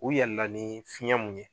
U yɛlɛla ni fiɲɛ mun ye,